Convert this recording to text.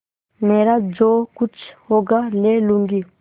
मेरा जो कुछ होगा ले लूँगी